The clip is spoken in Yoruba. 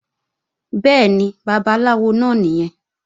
Bẹ́ẹ̀ni, Babaláwo náà nìyẹn